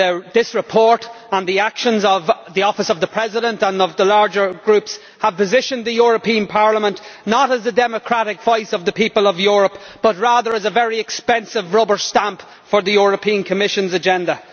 This report, and the actions of the Office of the President and of the larger groups, have positioned the European Parliament not as the democratic voice of the people of Europe but rather as a very expensive rubber stamp for the Commission's agenda.